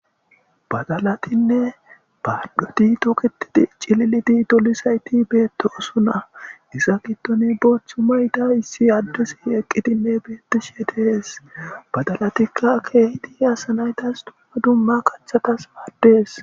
badalatinne baadhoti tokitii cilliti dolisayti beettosuna isa gittoni boothchu mayta issi addusi eqqitinne beetti shetees badalatikka keehdi asanaytas dma dumma kachatas maaddees